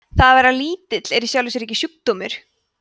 það að vera lítill er í sjálfu sér ekki sjúkdómur